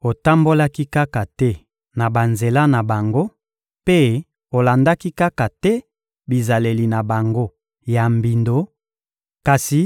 Otambolaki kaka te na banzela na bango mpe olandaki kaka te bizaleli na bango ya mbindo, kasi